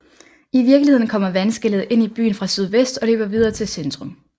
I virkeligheden kommer vandskellet ind i byen fra sydvest og løber videre til centrum